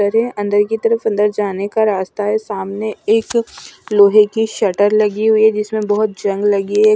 दरे अंदर की तरफ अंदर जाने का रास्ता है सामने एक लोहे की शटर लगी हुई है जिसमें बहोत जंग लगी है।